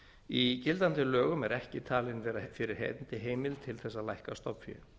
í gildandi lögum er ekki talin vera fyrir hendi heimild til þess að lækka stofnfé